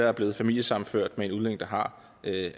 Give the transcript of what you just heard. er blevet familiesammenført med en udlænding der har